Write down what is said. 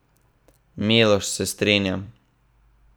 Miloš, se strinjam.